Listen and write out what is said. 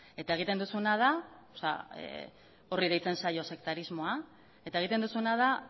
horri deitzen zaio sektarismoa eta egiten duzuna da